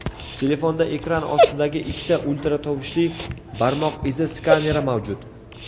telefonda ekran ostidagi ikkita ultratovushli barmoq izi skaneri mavjud.